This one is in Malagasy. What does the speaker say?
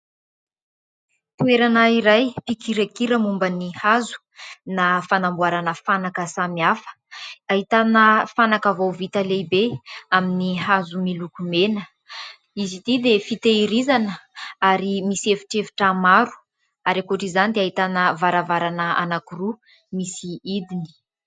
Toerana iray mpikirakira momba ny hazo na fanamboarana fanaka samihafa. Ahitana fanaka vao vita lehibe amin'ny hazo miloko mena. Izy ity dia fitahirizana ary misy efitrefitra maro ary ankoatr'izany dia ahitana varavarana anankiroa misy hidiny.